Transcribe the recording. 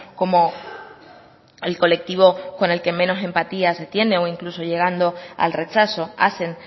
como el colectivo con el que menos empatías se tiene o incluso llegando al rechazo hacen